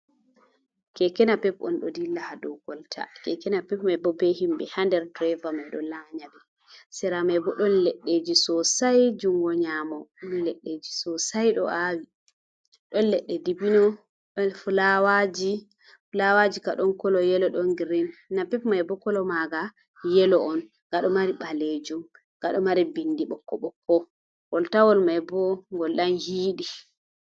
Keke napep on ɗo dilla ha dou kolta, kekena pep mai bo be himɓe hander, driver mai ɗon lanyari sera mai bo ɗon leddeji sosai juungo nyamo, leddiji sosai ɗo awi don ledde dibino, fulawaji kaɗon kolo yelo, ɗon girin, napep mai bo kolo maga yelo on, ga ɗo mari ɓalejuum gado mari bindi ɓokko ɓokko goltawol mai bo gol ɗon hiiɗi.